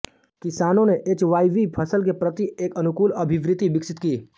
किसानों ने एचवाईवी फसल के प्रति एक अनुकूल अभिवृत्ति विकसित की